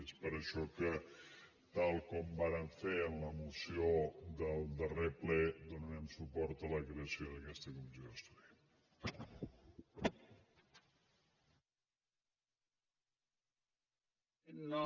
és per això que tal com vàrem fer en la moció del darrer ple donarem suport a la creació d’aquesta comissió d’estudi